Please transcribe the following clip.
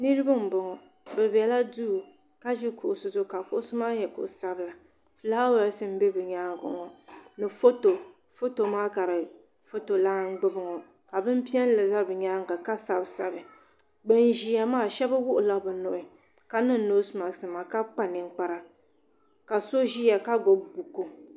Niriba m boŋɔ bɛ bela duu ka ʒi kuɣusi zuɣu ka kuɣusi maa nyɛ kuɣu sabila filaawaasi m be bɛ nyaanga ŋɔ ni foto foto maa ka foto lana gbibi ŋɔ bini piɛlli za bɛ nyaanga ka sabi sabi bin ʒia maa sheba wuɣila bɛ nuhi ka ni. noosi maaki nima ka kpa ninkpara ka so ʒia ka gbibi buku.